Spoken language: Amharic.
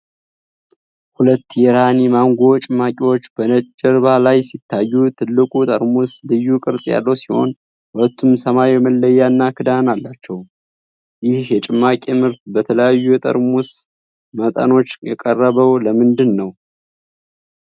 ሁለት የራኒ ማንጎ ጭማቂዎች በነጭ ጀርባ ላይ ሲታዩ፣ ትልቁ ጠርሙስ ልዩ ቅርፅ ያለው ሲሆን ሁለቱም ሰማያዊ መለያ እና ክዳን አላቸው፤ ይህ የጭማቂ ምርት በተለያዩ የጠርሙስ መጠኖች የቀረበው ለምንድነው?